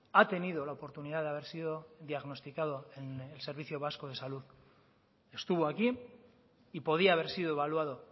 ha tenido la oportunidad de haber sido diagnosticado en el servicio vasco de salud estuvo aquí y podía haber sido evaluado